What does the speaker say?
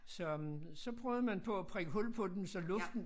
Så øh så prøvede man på at prikke hul på den så luften